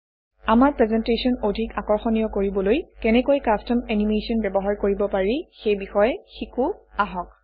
আমাৰ প্ৰেজেণ্টেশ্যন অধিক আকৰ্ষণীয় কৰিবলৈ কেনেকৈ কাষ্টম এনিমেচন ব্যৱহাৰ কৰিব পাৰি সেই বিষয়ে শিকো অাহক